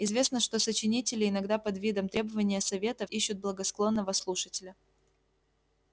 известно что сочинители иногда под видом требования советов ищут благосклонного слушателя